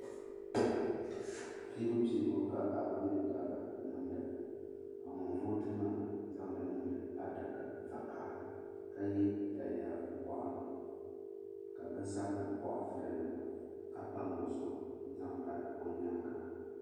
Piibu piibu ka paɣaba mini dabba niŋda ka ŋun vooti maa zaŋdi niŋdi adaka zaɣa vakahali ni ka ye daliya woɣinli ka binsabinli koɣali daliya maa ka pam o zuɣu n zaŋ bahi o nyaanga.